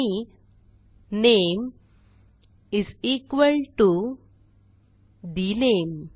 आणि name is equal to the name